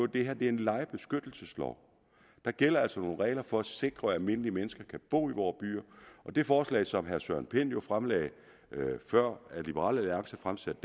det her er en lejebeskyttelseslov der gælder altså nogle regler for at sikre at almindelige mennesker kan bo i vore byer og det forslag som herre søren pind jo fremsatte før liberal alliance fremsatte